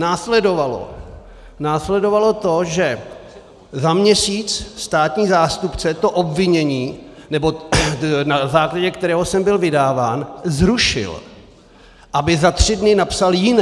Následovalo to, že za měsíc státní zástupce to obvinění, na základě kterého jsem byl vydáván, zrušil, aby za tři dny napsal jiné.